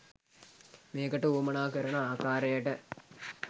මේකට වුවමනා කරන ආකාරයට